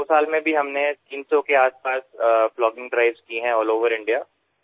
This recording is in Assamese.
যোৱা দুবছৰতো আমি ৩০০ৰ ওচৰেপাজৰে প্লগিং অভিযান চলাইছো